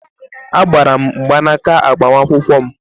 Agbaara m mgbanaaka agbamakwụkwọ m.